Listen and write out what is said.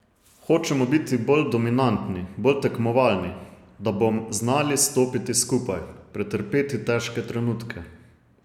Hočemo biti bolj dominantni, bolj tekmovalni, da bom znali stopiti skupaj, pretrpeti težke trenutke.